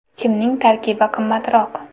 Kimning tarkibi qimmatroq?.